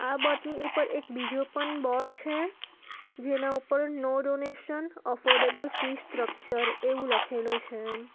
આ બોર્ડ ની ઉપર એક બીજો પણ બોર્ડ છે જેના ઉપર no donation affordable fee structure એવું લખેલું છે એમ.